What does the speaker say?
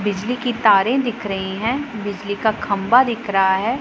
बिजली की तारें दिख रही हैं बिजली का खंबा दिख रहा है।